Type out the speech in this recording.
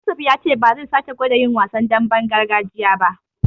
Yusuf ya ce ba zai sake gwada yin wasan damben gargajiya ba.